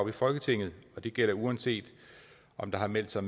i folketinget og det gælder uanset om der har meldt sig